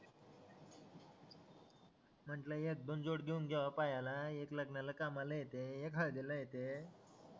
म्हंटलं एक दोन जोड घेऊन द्यावा पायाला एक लग्नाला कामाला येते एक हळदीला येते